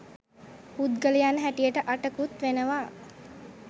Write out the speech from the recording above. පුද්ගලයන් හැටියට අටකුත් වෙනවා.